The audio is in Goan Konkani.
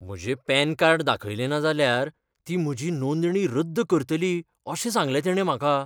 म्हजें पॅन कार्ड दाखयलें ना जाल्यार ती म्हजी नोंदणी रद्द करतली अशें सांगलें तिणें म्हाका.